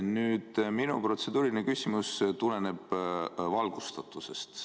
Aga minu protseduuriline küsimus tuleneb valgustatusest.